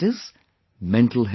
, mental health